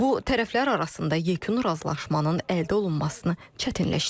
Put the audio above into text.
Bu tərəflər arasında yekun razılaşmanın əldə olunmasını çətinləşdirir.